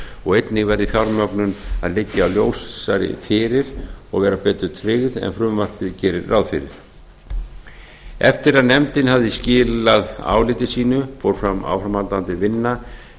og einnig verði fjármögnun að liggja ljósari fyrir og vera betur tryggð en frumvarpið gerir ráð fyrir eftir að nefndin hafði skilað áliti sínu fór fram áframhaldandi vinna